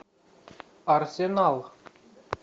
арсенал